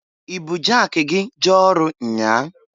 I bụ jaki gi jee ọrụ nnyaa?